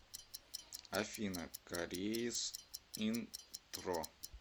афина корейс интро